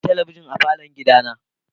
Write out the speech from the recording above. Ina da talabijin a falon gidana.